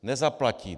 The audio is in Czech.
Nezaplatí.